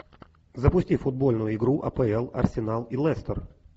запусти футбольную игру апл арсенал и лестер